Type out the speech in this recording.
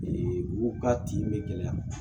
u ka tin be gɛlɛya